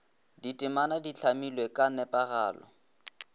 ditemana di hlamilwe ka nepagalo